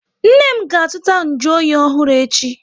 Nne m ga azụta nju oyi ọhụrụ echi